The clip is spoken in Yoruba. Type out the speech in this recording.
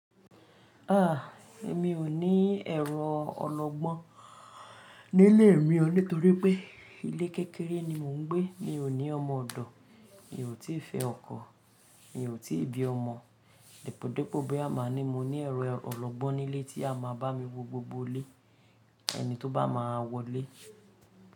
Ah! Èmi ò ní ẹrọ ọlọgbọ́n nílé mi o nítorí pé ilé kékeré ni mò ń gbé. Mi ò ní ọmọ ọ̀dọ̀, mi ò tí ì fẹ́ ọkọ, mi ò tí ì bí ọmọ. Dèpòdépò bóyá máa ní mo ní ẹ̀rọ ọlọgbọ́n nílé tí á a máa bá mi wo gbogbo ilé ẹni tó bá máa wọlé.